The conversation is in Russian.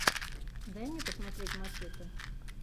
дай мне посмотреть мачете